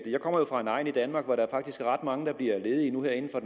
jeg kommer jo fra en egn i danmark hvor der faktisk er ret mange der nu bliver ledige her inden for